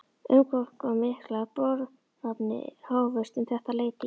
Umfangsmiklar boranir hófust um þetta leyti í